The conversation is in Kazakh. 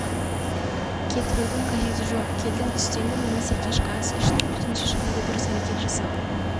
кетірудің қажеті жоқ келдің түстендің немесе кешкі ас іштің және төтенше жағдайда дұрыс әрекет жасау